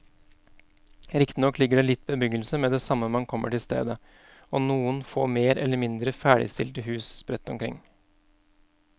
Riktignok ligger det litt bebyggelse med det samme man kommer til stedet og noen få mer eller mindre ferdigstilte hus sprett rundt omkring.